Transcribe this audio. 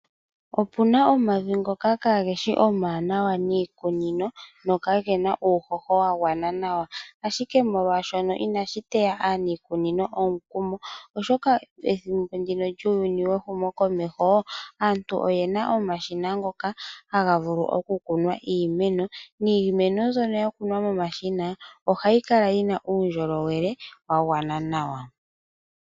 Opuna omavi ngoka kaageshi omawanawa niikunino nokagena uuhoho wagwana nawa. Ashike molwaashono inashi teya aaniikunino omukumo, oshoka pethimbo ndino lyuuyuni wehumokomeho aantu oyena omashina ngoka haga vulu okukunwa iimeno. Niimeno mbyono yakunwa momashina ohayi kala yina uundjolowele wagwana nawa.